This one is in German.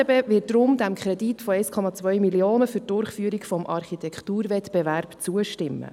Die FDP wird deshalb diesem Kredit von 1,2 Mio. Franken für die Durchführung des Architekturwettbewerbs zustimmen.